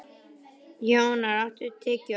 Jónar, áttu tyggjó?